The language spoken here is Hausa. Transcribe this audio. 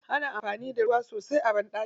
Ana amfani da ruwa sosai a banɗaki.